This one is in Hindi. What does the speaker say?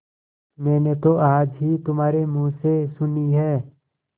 मैंने तो आज ही तुम्हारे मुँह से सुनी है